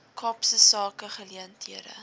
kaapse sake geleenthede